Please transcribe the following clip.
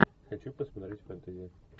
хочу посмотреть фэнтези